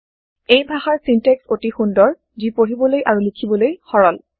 এই ভাষাৰ চিনটেক্স অতি সুন্দৰ যি পঢ়িবলৈ আৰু লিখিবলৈ সৰল